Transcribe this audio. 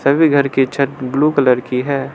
सभी घर की छत ब्लू कलर की है।